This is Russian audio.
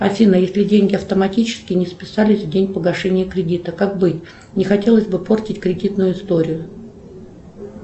афина если деньги автоматически не списались в день погашения кредита как быть не хотелось бы портить кредитную историю